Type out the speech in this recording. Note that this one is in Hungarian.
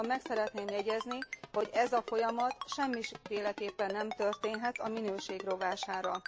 Azonban meg szeretném jegyezni, hogy ez a folyamat semmiféleképpen sem történhet a minőség rovására.